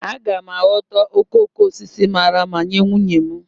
Aga m aghọta okoko osisi mara mma nye nwunye m